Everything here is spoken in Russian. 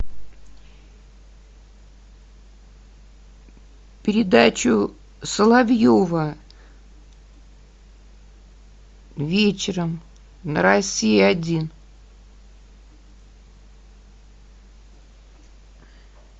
передачу соловьева вечером на россия один